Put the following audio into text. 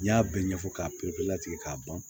N'i y'a bɛɛ ɲɛfɔ k'a pereperelatigɛ k'a ban